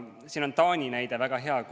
Siin on Taani näide väga hea.